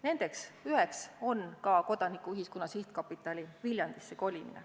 Üheks selliseks sammuks on ka Kodanikuühiskonna Sihtkapitali Viljandisse kolimine.